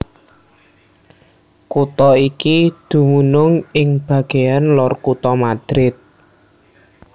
Kutha iki dumunung ing bagéan lor kutha Madrid